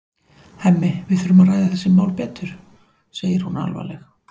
Hemmi, við þurfum að ræða þessi mál betur, segir hún alvarleg.